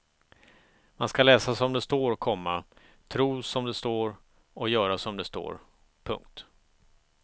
Man ska läsa som det står, komma tro som det står och göra som det står. punkt